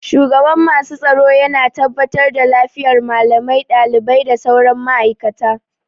Shugaban masu tsaro yana tabbatar da lafiyar malamai, ɗalibai da sauran ma'aikata